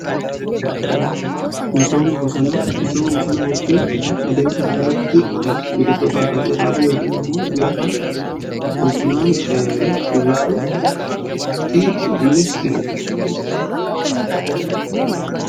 misooma bosonaa jechuun adeemsa lafa irratti biqiltota adda addaa dhaabuu yookiin immoo lafa bosonaan uwwisuuti.